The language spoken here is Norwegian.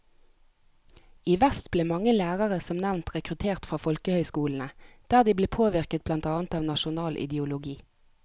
I vest ble mange lærere som nevnt rekruttert fra folkehøyskolene, der de ble påvirket blant annet av nasjonal ideologi.